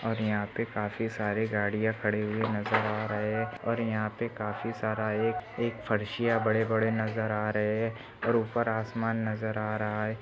और यहा पे काफी सारी गाड़िया खड़ी हुई नजर आ रहे है और यहा पे काफी सारा एक एक फारशीया बड़े बड़े नजर आ रहे है और उपर आसमान नजर आ रहा है।